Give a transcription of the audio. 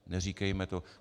Neříkejme to.